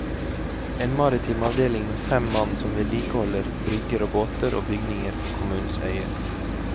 En maritim avdeling med fem mann som vedlikeholder brygger og båter og bygninger på kommunens øyer.